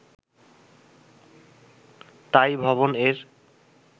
তাই 'ভবন'-এর